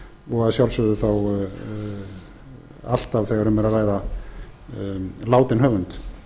og að sjálfsögðu þá alltaf þegar um er að ræða látinn höfund